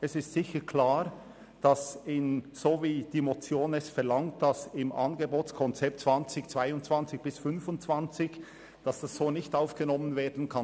Es ist sicher klar, dass das Anliegen in der Weise, wie es die Motion verlangt, im Angebotskonzept 2022 bis 2025 nicht aufgenommen werden kann.